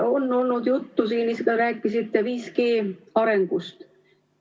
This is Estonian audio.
On olnud juttu, te ise rääkisite ka, 5G arengust.